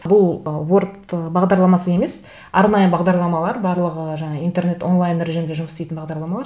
бұл ворд бағдарламасы емес арнайы бағдарламалар барлығы жаңа интернет онлайн режимде жұмыс істейтін бағдарламалар